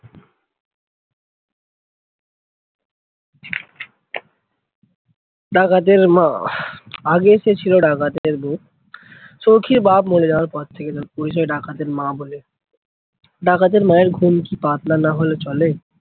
ডাকাতের মা, আগে সে ছিল ডাকাতের বৌ সৌখীর বাপ মরে যাওয়ার পর থেকে তার পরিচয় ডাকাতের মা বলে। ডাকাতের মায়ের ঘুম কি পাতলা না হলে চলে?